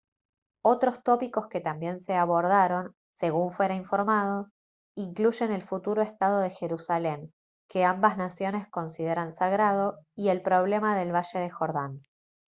otros tópicos que también se abordaron según fuera informado incluyen el futuro estado de jerusalén que ambas naciones consideran sagrado y el problema del valle del jordán